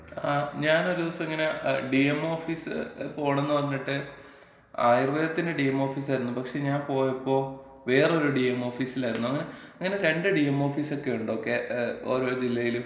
ങാ, ഞാനൊരു ദിവസം ഇങ്ങനെ ഡിഎംഒ ഓഫീസ് പോണംന്ന് പറഞ്ഞിട്ട്, ആയുർവേദത്തിന്‍റെ ഡിഎം ഓഫീസ് ആയിരുന്നു, പക്ഷേ ഞാൻ പോയപ്പോ വേറൊരു ഡിഎംഒ ഓഫീസിലായിരുന്നു. അങ്ങനെ രണ്ട് ഡിഎംഒ ഓഫീസൊക്കെ ഇണ്ടോ? കേരളത്തി, ഏ, ഓരോ ജില്ലേലും?